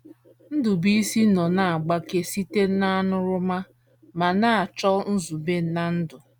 Ndubuisi nọ na - agbake site n’aṅụrụma ma na - achọ nzube ná ndụ.